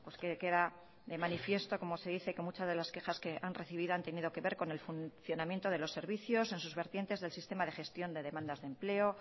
que queda de manifiesto como se dice que muchas de las quejas que han recibido han tenido que ver con el funcionamiento de los servicios en sus vertientes del sistema de gestión de demandas de empleo